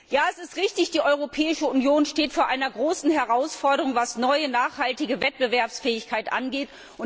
Ja, es ist richtig, die Europäische Union steht vor einer großen Herausforderung, was neue, nachhaltige Wettbewerbsfähigkeit angeht.